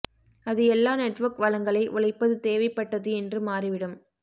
அது எல்லா நெட்வொர்க் வளங்களை உழைப்பது தேவைப்பட்டது என்று மாறிவிடும்